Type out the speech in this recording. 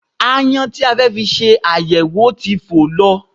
Aáyán tí a fẹ́ fi ṣe àyẹ̀wò ti fò lọ